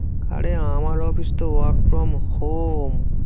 আরে আমার অফিস তো work from home